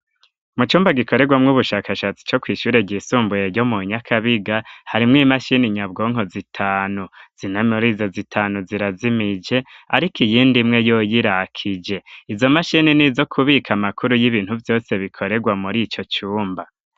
Mu cumba gikorerwamwo ubushakashatsi co kwishure ryisumbuye yo mu nyakabiga harimwo imashini nyabwonko zitanu zinta murizo zitanu zirazimije, ariko iyindi mwe yoyirakije izo mashini nizo kubika amakuru y'ibintu vyose bikorerwa muri ico cumba.